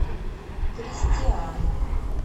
кристиан